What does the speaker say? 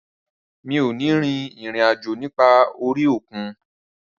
Rárá, mi ò ní rin ìrìn àjò nípa orí òkun